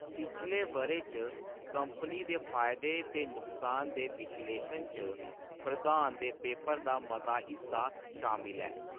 पिछले बʼरे च कंपनी दे फायदे ते नुकसान दे विश्लेशन च प्रधान दे पेेपर दा मता हिस्सा शामल ऐ।